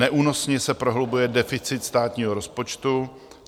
Neúnosně se prohlubuje deficit státního rozpočtu.